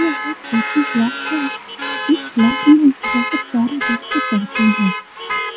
यह एक coaching class है इस क्लास में बहुत सारे बच्चे पढ़ते हैं